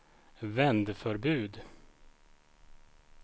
vändförbud